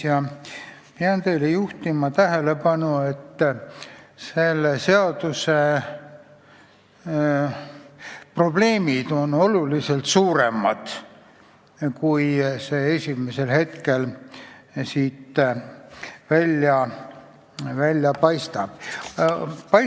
Ma pean teie tähelepanu juhtima asjaolule, et selle seaduseelnõu probleemid on oluliselt suuremad, kui esimesel hetkel välja paistab.